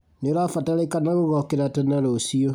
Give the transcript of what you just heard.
Nĩũrabatarĩkana gũgokĩra tene rũciũ